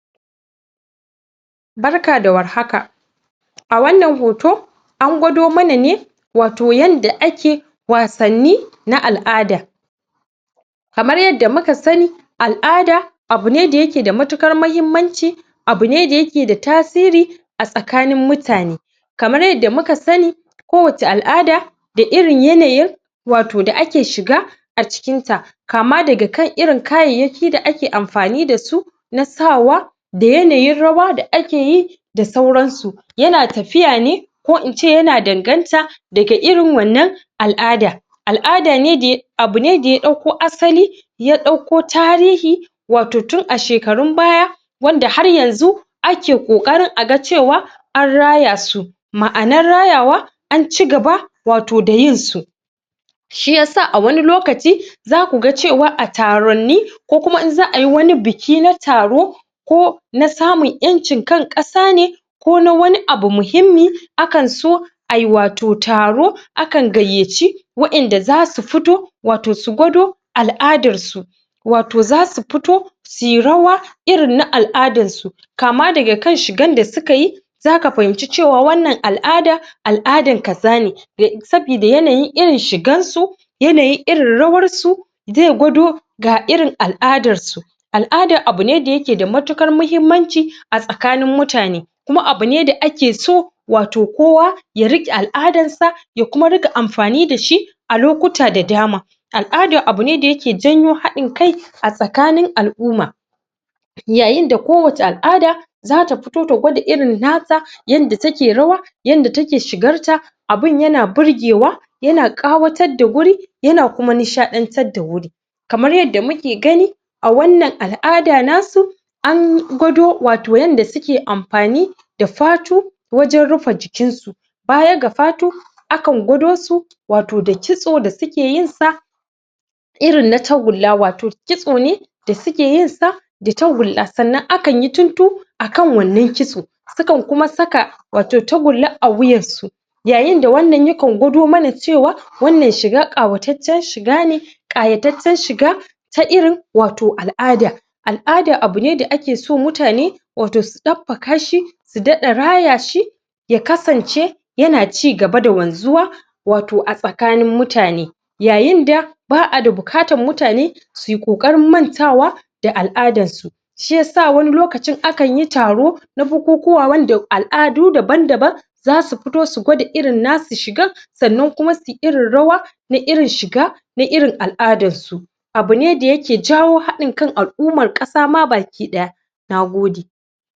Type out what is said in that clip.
Barka da warhaka! wannan hoto an gwado mana ne wato yanda ake wasanni na al'ada kamar yadda muka sanni al'ada abune da yake da matukar mahimmanci abune da yake da tasiri a tsakanin mutane kamar yadda muka sanni ko wacce a'ada da irin yanayin wato da ake shiga a cikin ta kama daga kan irin kayayyaki da ake amfani dasu na sawa da yanayin rawa da akeyi da sauran su yana tafiya ne ko ince yana danganta daga irin wannan al'ada al'ada ne da ya abune da ya ɗauko asali ya ɗauko tarihi wato tun a shekarun baya wanda har yanzu ake ƙoƙarin a ga cewa an raya su ma'anar rayawa an cigaba wato da yinsu shiyasa a wani lokaci zaku ga cewa a taronni ko kuma in za'a yi wani biki na taro ko na samun kan ƴancin ƙasa ne ko na wani abu muhimmi akan so ai wato taro akan gayyaci wa'inda zasu futo wato su gwado al'adar su wato zasu futo sui rawa irin na al'adar su kama daga kan shigan da suka yi zaka fahimci cewa wannan al'ada al'adan kaza ne sabida yanayin irin shigan su yanayin irin rawarsu zai gwado ga irin al'adarsu al'ada abune da yake da matukar mahimmanci a tsakanin mutane kuma abune da ake so wato kowa ya riƙe al'adarsa ya kuma rika amfani dashi a lokuta da dama al'ada abune da yake janyo haɗin kai a tsakanin al'umma yayin da ko wace al'ada zata futo ta gwada irin nata yanda take rawa yanda take shigarta abun yana burgewa yana ƙawatar da guri yana kuma nishaɗantar da wuri kamar yadda muke gani a wannan al'ada nasu an gwado wato yanda suke amfani da fatu wajen rufe jikin su baya ga fatu akan gwado su wato da kitso da suke yin sa irin na tagulla, wato kitso ne da suke yin sa da tagulla, sannan akan yi tuntu akan wannan kitso sukan kuma saka wato tagulla a wuyan su yayin da wannan ya kan gwado mana cewa wannan shiga ƙawataccen shiga ne ƙayataccen shiga ta irin wato al'ada al'ada abune da ake so mutane wato su ɗabfaka shi su daɗa raya shi ya kasance yana cigaba da wanzuwa wato a tsakanin mutane yayin da ba'a da bukatan mutane sui ƙoƙarin mantawa da al'adar su shiyasa wani lokacin akan yi taro da bukuwawa wanda al'adu daban-daban zasu futo su gwada irin nasu shigan sannan kuma sui irin rawa na irin shiga na irin al'adar su abune da yake jawo haɗin kan al- umar ƙasa ma baki ɗaya Nagode!